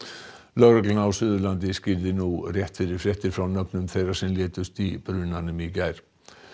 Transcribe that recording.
lögreglan á Suðurlandi tilkynnti nú rétt fyrir fréttir nöfn þeirra sem létust í brunanum í gær